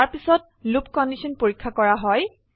তাৰপিছত loop condition পৰীক্ষা কৰা হয়